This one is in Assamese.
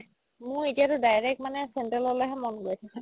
মোৰ এতিয়াটো direct মানে central লৈ হে মন গৈ আছে